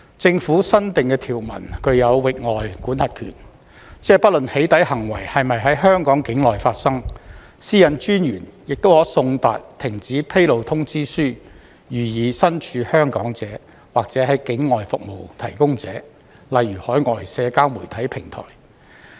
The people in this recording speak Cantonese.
政府新訂的條文具有域外管轄權，即不論"起底"行為是否在香港境內發生，私隱專員亦可送達停止披露通知書予身處香港者，或境外服務提供者，例如海外社交媒體平台。